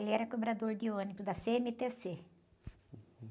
Ele era cobrador de ônibus da cê-eme-tê-cê.